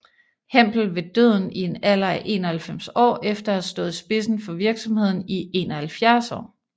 Hempel ved døden i en alder af 91 år efter at have stået i spidsen for virksomheden i 71 år